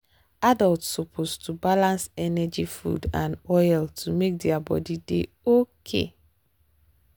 adults suppose to balance energy food and oil to make their body dey okay.